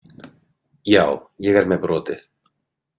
Já, ég er með brotið.